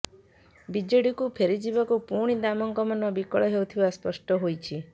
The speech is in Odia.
ବିଜେଡିକୁ ଫେରିଯିବାକୁ ପୁଣି ଦାମଙ୍କ ମନ ବିକଳ ହେଉଥିବା ସ୍ପଷ୍ଟ ହେଉଛି